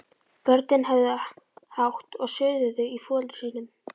Börnin höfðu hátt og suðuðu í foreldrum sínum.